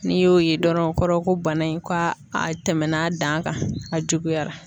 N'i y'o ye dɔrɔn o kɔrɔ ye ko bana in ko a tɛmɛna a dan kan, a juguyara.